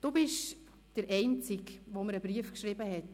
Du bist der Einzige, der mir einen Brief geschrieben hat.